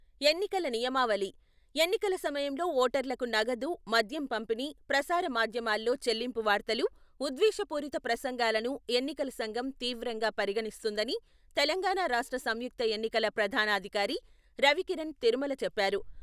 ఎన్నికల నియమావళి ఎన్నికల సమయంలో ఓటర్లకు నగదు, మద్యం పంపిణీ, ప్రసార మాధ్యమాల్లో చెల్లింపు వార్తలు, విద్వేష పూరిత ప్రసంగాలను ఎన్నికల సంఘం తీవ్రంగా పరిగణిస్తుందని తెలంగాణా రాష్ట్ర సంయుక్త ఎన్నికల ప్రధానాధికారి రవికిరణ్ తిరుమల చెప్పారు.